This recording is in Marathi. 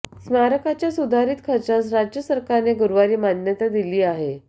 स्मारकाच्या सुधारित खर्चास राज्य सरकारने गुरुवारी मान्यता दिली आहे